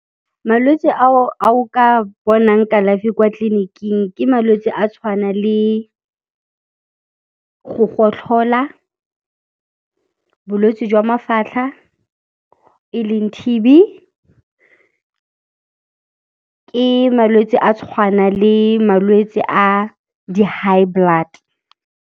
Malwetse a o ka bonang kalafi kwa tleliniking ke malwetse a tshwana le go gotlhola, bolwetse jwa mafatlha e leng T_B, ke malwetse a tshwana le malwetse a di high blood.